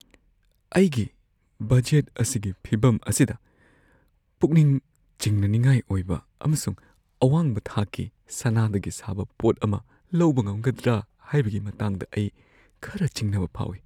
ꯑꯩꯒꯤ ꯕꯖꯦꯠ ꯑꯁꯤꯒꯤ ꯐꯤꯚꯝ ꯑꯁꯤꯗ, ꯄꯨꯛꯅꯤꯡ ꯆꯤꯡꯅꯅꯤꯡꯉꯥꯏ ꯑꯣꯏꯕ ꯑꯃꯁꯨꯡ ꯑꯋꯥꯡꯕ ꯊꯥꯛꯀꯤ ꯁꯅꯥꯗꯒꯤ ꯁꯥꯕ ꯄꯣꯠ ꯑꯃ ꯂꯧꯕ ꯉꯝꯒꯗ꯭ꯔꯥ ꯍꯥꯏꯕꯒꯤ ꯃꯇꯥꯡꯗ ꯑꯩ ꯈꯔ ꯆꯤꯡꯅꯕ ꯐꯥꯎꯏ꯫